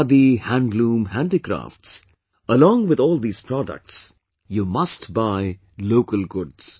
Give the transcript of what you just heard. Khadi, handloom, handicrafts...along with all these products, you must buy local goods